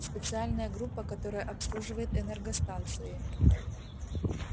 специальная группа которая обслуживает энергостанции